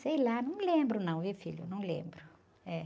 Sei lá, não me lembro não, viu, filho? Não lembro.